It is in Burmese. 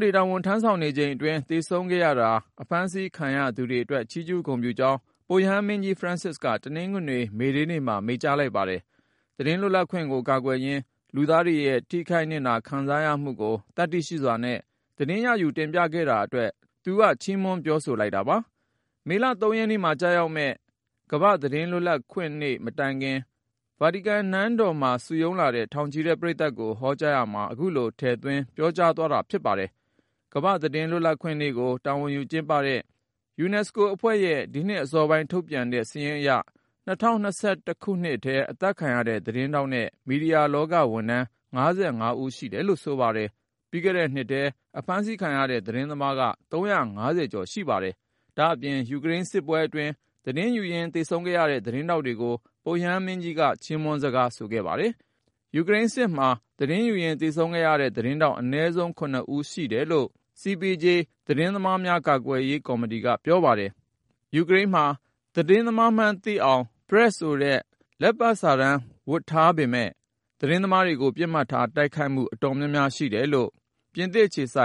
တွေ တာဝန်ထမ်းဆောင်နေချိန်အတွင်း သေဆုံးခဲ့ရတာ၊ အဖမ်းဆီးခံရတာတွေအတွက် ချီးကျူးဂုဏ်ပြုကြောင်း ပုပ်ရဟန်းမင်းကြီး Francis က တနင်္ဂနွေ မေဒေးနေ့မှာ မိန့်ကြားလိုက်ပါတယ်။ သတင်းလွတ်လပ်ခွင့်ကို ကာကွယ်ရင်း လူသားတွေရဲ့ ထိခိုက်နစ်နာ ခံစားရမှုကို သတ္တိရှိစွာနဲ့ သတင်းရယူ တင်ပြခဲ့တာအတွက် သူက ချီးမွမ်း ပြောဆိုလိုက်တာပါ။ မေလ ၃ ရက်နေ့မှာ ကျရောက်မယ့် World Press Freedom Day ကမ္ဘာ့သတင်းလွတ်လပ်ခွင့်နေ့ မတိုင်ခင် ဗာတီကန်နန်းတော် စိန့်ပီတာရင်ပြင်မှာ စုရုံးလာတဲ့ ထောင်ချီတဲ့ ပရိသတ်ကို ဟောကြားရာမှာ ခုလို ထည့်သွင်း ပြောဆိုခဲ့တာ ဖြစ်ပါတယ်။ ကမ္ဘာ့သတင်းလွတ်လပ်ခွင့်နေ့ကို တာဝန်ယူကျင်းပတဲ့ ကုလသမဂ္ဂ UNESCO အဖွဲ့ရဲ့ ဒီနှစ်အစောပိုင်း ထုတ်ပြန်တဲ့ စာရင်းအရ ၂၀၂၁ ခုနှစ်ထဲမှာ အသတ်ခံရတဲ့ သတင်းထောက်နဲ့ မီဒီယာလောက ဝန်ထမ်း ၅၅ ဦးရှိတယ်လို့ ဆိုပါတယ်။ ပြီးခဲ့တဲ့နှစ်ထဲ အဖမ်းဆီးခံရတဲ့ သတင်းသမားက ၃၅၀ ကျော် ရှိတယ်လို့ ဆိုပါတယ်။ ဒါ့အပြင် ယူကရိန်းစစ်ပွဲအတွင်း သတင်းယူရင်း သေဆုံးခဲ့ရတဲ့ သတင်းထောက်တွေကိုလည်း ပုပ်ရဟန်းမင်းကြီးက ချီးမွမ်းစကား ဆိုခဲ့ပါတယ်။ ယူကရိန်းစစ်မှာ သတင်းယူရင်း သေဆုံးခဲ့တဲ့ သတင်းထောက် အနည်းဆုံး ၇ ဦးရှိတယ်လို့ CPJ ခေါ် နယူးယောက်အခြေစိုက် သတင်းသမားများ ကာကွယ်ရေးကော်မတီက ပြောပါတယ်။ ယူကရိန်းမှာ ‘PRESS’ ဆိုတဲ့ လက်ပတ်စာတမ်း ဝတ်ဆင်ထားတဲ့ သတင်းသမားတွေကို ပစ်မှတ်ထား တိုက်ခိုက်မှု အတော်များများ ရှိတယ်လို့ ပြင်သစ်အခြေစို